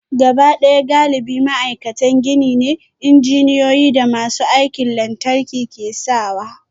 Gabaɗaya galibi ma'aikatan gini ne, injiniyoyi da masu aikin lantarki ke sawa